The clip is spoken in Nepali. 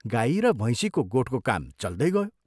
गाई र भैंसीको गोठको काम चल्दै गयो।